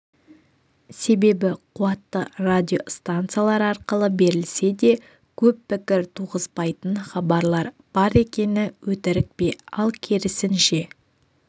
себебі қуатты радиостанциялар арқылы берілсе де көп пікір туғызбайтын хабарлар бар екені өтірік пе ал керісінше